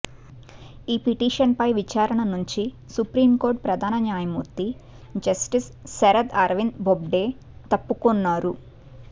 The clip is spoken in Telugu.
ఈ పిటీషన్ పై విచారణ నుంచి సుప్రీంకోర్టు ప్రధాన న్యాయమూర్తి జస్టిస్ శరద్ అరవింద్ బొబ్డె తప్పుకొన్నారు